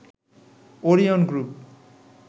Orion group